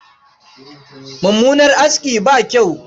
Mummunan aski ba kyau.